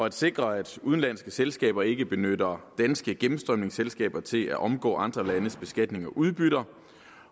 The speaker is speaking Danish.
at sikre at udenlandske selskaber ikke benytter danske gennemstrømningsselskaber til at omgå andre landes beskatning af udbytter